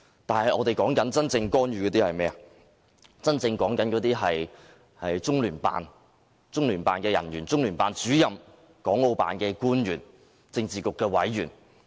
是中央人民政府駐香港特別行政區聯絡辦公室、中聯辦人員、中聯辦主任、國務院港澳事務辦公室官員、政治局委員。